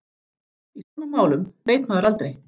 Í svona málum veit maður aldrei.